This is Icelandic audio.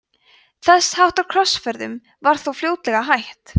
þess háttar krossferðum var þó fljótlega hætt